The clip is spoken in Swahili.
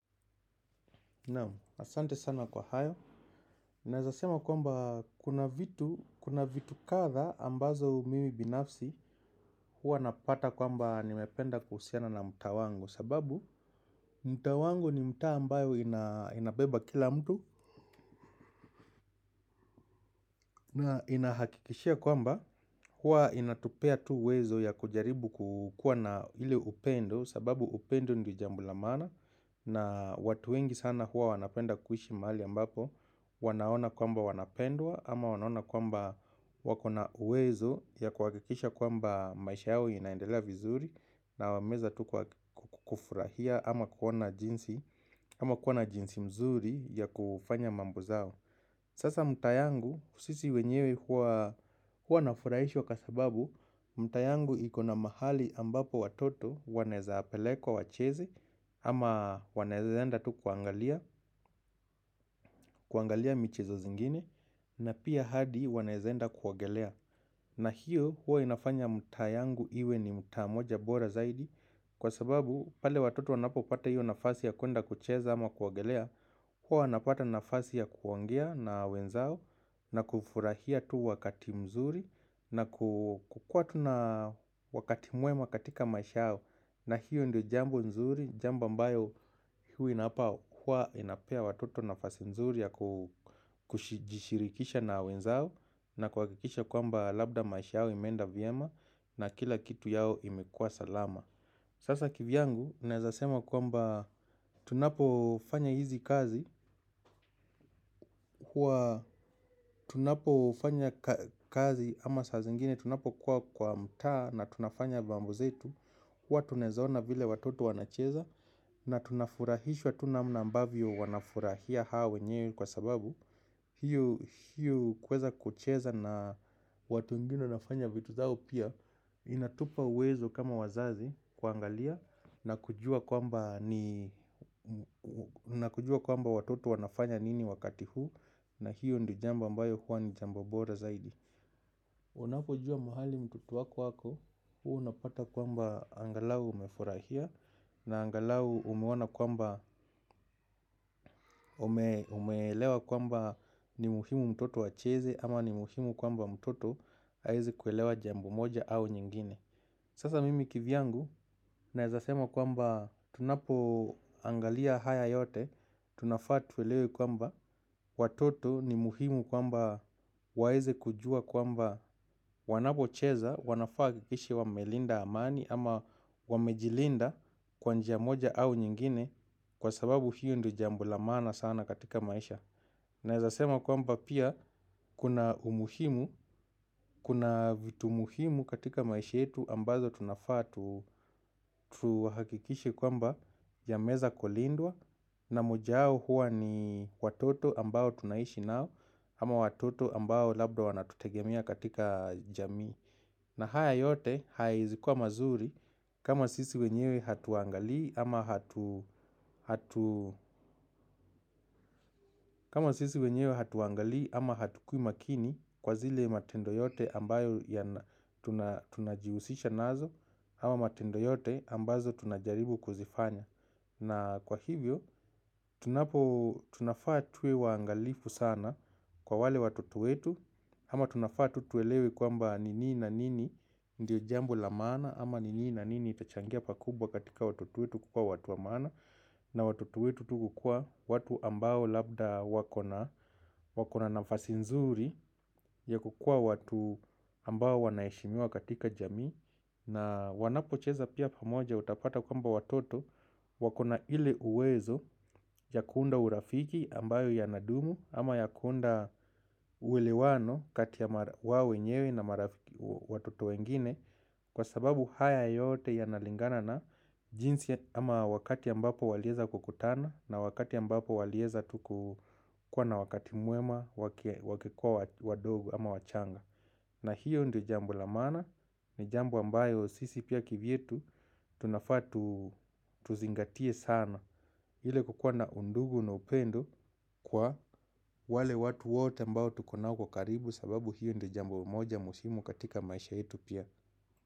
Nam, asante sana kwa hayo. Naeza sema kwamba kuna vitu, kuna vitu kadha ambazo mimi binafsi huwa napata kwamba nimependa kuhusiana na mta wangu sababu mtaa wangu ni mtaa ambayo inabeba kila mtu na inahakikishia kwamba huwa inatupea tu uwezo ya kujaribu kukuwa na ile upendo sababu upendo ndio jambola maana na watu wengi sana huwa wanapenda kuishi mahali ambapo wanaona kwamba wanapendwa ama wanaona kwamba wakona uwezo ya kuha kikisha kwamba maisha yao inaendelea vizuri na wameeza tu kufurahia ama kuwa na jinsi mzuri ya kufanya mambo zao. Sasa mtaa yangu, sisi wenyewe huwaa nafurahishwa kwa sababu, mtaa yangu ikona mahali ambapo watoto waneza pelekwa wacheze ama wanaeze enda tu kuangalia, kuangalia michezo zingine na pia hadi wanaeza enda kuogelea na hiyo huo inafanya mtaa yangu iwe ni mtaa moja bora zaidi. Kwa sababu pale watoto wanapopata hiyo nafasi ya kuenda kucheza ama kuogelea. Huo anapata nafasi ya kuongea na wenzao na kufurahia tu wakati mzuri na kukuwa tu na wakati mwema katika maisha yao na hiyo ndio jambo nzuri, jambo ambayo huwa na h inapea watoto nafasi nzuri ya kujishirikisha na wenzao na kuhakikisha kwamba labda maisha yao imeenda vyema na kila kitu yao imekuwa salama. Sasa kivyangu, naezasema kwamba tunapo fanya hizi kazi kuwa tunapofanya kazi ama saa zingine tunapo kuwa kwa mta na tunafanya mambo zetu. Huwa tunaezaona vile watoto wanacheza na tunafurahishwa tu namna ambavyo wanafurahia hao wenyewe kwa sababu hio kuweza kucheza na watu wengine wanafanya vitu zao pia inatupa uwezo kama wazazi kuangalia na kujuwa kwamba ni na kujua kwamba watoto wanafanya nini wakati huu na hio ndio jambo ambayo huwa ni jambo bora zaidi. Wanapo juwa mahali mtoto wako ako, huwa unapata kwamba angalau umefurahia na angalau umeona kwamba umeelewa kwamba ni muhimu mtoto wacheze ama ni muhimu kwamba mtoto aweze kuelewa jambo moja au nyingine. Sasa mimi kivyangu naezasema kwamba tunapo angalia haya yote, tunafaa tuelewe kwamba watoto ni muhimu kwamba waeze kujua kwamba wanapocheza, wanafaa wahakikishe wame linda amani ama wamejilinda kwa njia moja au nyingine kwa sababu hiyo ndio jambo la maana sana katika maisha. Naeza sema kwamba pia kuna umuhimu, kuna vitu muhimu katika maisha yetu ambazo tunafaa na kufurahia tu wakati mzuri na kukuwa tu na wakati mwema katika maisha yao na hiyo ndio jambo nzuri, jambo ambayo huwa inapea watoto nafasi nzuri ya kushirikishana na wenzao na haya yote haya hizikuwa mazuri kama sisi wenyewe hatuangalii ama hatukui makini kwa zile matendo yote ambayo ya tunajihusisha nazo. Ama matendo yote ambazo tunajaribu kuzifanya. Na kwa hivyo, tunafaa tuwe waangalifu sana kwa wale watoto wetu, ama tunafaa tu tuelewe kwamba ni nini na nini ndio jambo la maana ama ni nini na nini itachangia pakubwa katika watoto wetu kukuwa watu wa maana na watoto wetu tu kukuwa watu ambao labda wakona nafasi nzuri ya kukua watu ambao wanaheshimiwa katika jamii na wanapo cheza pia pamoja utapata kamba watoto wakona ile uwezo ya kuunda urafiki ambayo ya nadumu ama ya kuunda uwelewano kati ya wao wenyewe na watoto wengine. Kwa sababu haya yote yanalingana na jinsi ama wakati ambapo walieza kukutana. Na wakati ambapo walieza tu kuwa na wakati mwema wakikuwa wadogu ama wachanga. Na hiyo ndiyo jambo la maana. Ni jambo ambayo sisi pia kivyetu tunafaa tu tuzingatie sana ile kukuwa na undugu na upendo kwa wale watu wote ambao tuko nao kwa ukaribu. Sababu hiyo ndiyo jambo moja muhimu katika maisha yetu pia.